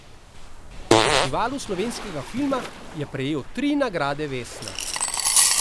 Festivalu slovenskega filma prejel tri nagrade vesna.